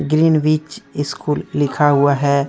Green विच school लिखा हुआ है।